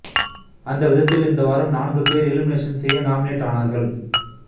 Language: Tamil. அந்த விதத்தில் இந்த வாரம் நான்கு பேர் எலிமினேஷன் செய்ய நாமினேட் ஆனார்கள்